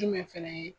Jumɛn fɛnɛ ye